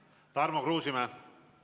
Tarmo Kruusimäe!